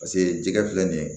Paseke jɛgɛ filɛ nin ye